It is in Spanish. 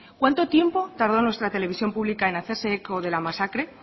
cuánto tiempo tardó nuestra televisión pública en hacerse eco de la masacre